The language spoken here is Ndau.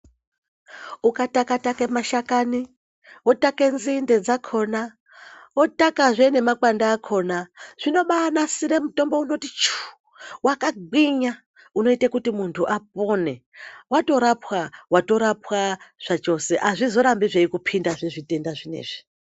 Ukatakataka mashakani woteke nzinde dzakona watakezve nemakwande akona zvinobanasire mutombo unoti chuu wakagwinya unoita kuti muntu apone watorapwa watorapwa zvachose azvizorambi zvei kupinda zvitenda zvinezvi.